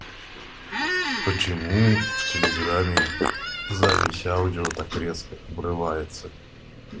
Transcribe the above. почему в телеграмме запись аудио так резко обрывается